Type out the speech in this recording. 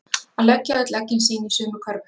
Að leggja öll eggin sín í sömu körfu